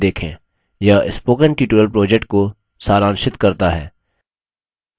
spoken tutorial project talktoateacher project का हिस्सा है